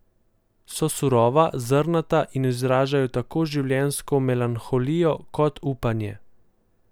So surova, zrnata in izražajo tako življenjsko melanholijo kot upanje.